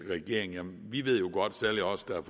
regeringen jamen vi ved jo godt særlig os der